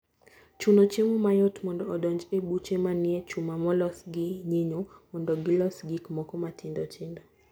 Chuno chiemo mayot mondo odonj e buche manie chuma molos gi nyinyo mondo gilos gik moko matindo tindo.